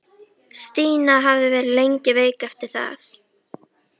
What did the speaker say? Stína hafði verið lengi veik eftir það.